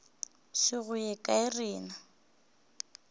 se go ye kae rena